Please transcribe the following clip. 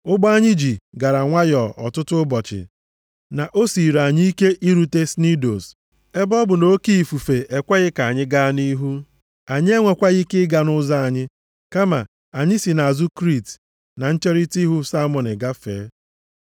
Ụgbọ anyị ji, gara nwayọọ ọtụtụ ụbọchị na o siiri anyị ike irute Snidos. Ebe ọ bụ nʼoke ifufe ekweghị ka anyị gaa nʼihu, anyị enwekwaghị ike ịga nʼụzọ anyị, kama anyị si nʼazụ Kriit na ncherita ihu Salmone gafee.